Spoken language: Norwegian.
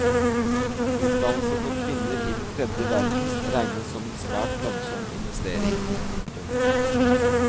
Utdannelse for kvinner i den tredje verden regnes som en svært lønnsom investering. punktum